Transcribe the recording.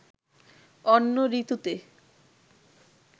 অন্য ঋতুতে